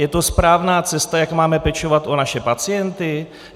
Je to správná cesta, jak máme pečovat o naše pacienty?